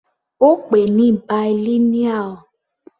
Ó pè ní bilineal.